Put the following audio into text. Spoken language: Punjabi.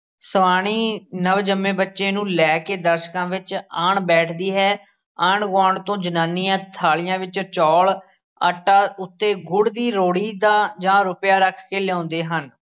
ਸਵਾਣੀ ਨਵ ਜੰਮੇ ਬੱਚੇ ਨੂੰ ਲੈ ਕੇ ਦਰਸ਼ਕਾਂ ਵਿੱਚ ਆਣ ਬੈਠਦੀ ਹੈ, ਆਂਢ-ਗੁਆਂਢ ਤੋਂ ਜਨਾਨੀਆਂ ਥਾਲੀਆਂ ਵਿੱਚ ਚੌਲ ਆਟਾ ਉੱਤੇ ਗੁੜ ਦੀ ਰਿਓੜੀ ਦਾ ਜਾਂ ਰੁਪਇਆ ਰੱਖ ਕੇ ਲਿਆਉਂਦੇ ਹਨ।